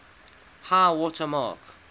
high water mark